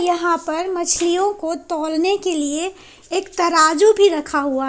यहां पर मछलियों को तौलने के लिए एक तराजू भी रखा हुआ है।